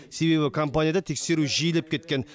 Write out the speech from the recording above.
себебі компанияда тексеру жиілеп кеткен